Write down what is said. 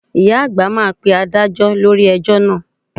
Ìyá àgbà máa pe Adájọ́ lórí ẹjọ́ náà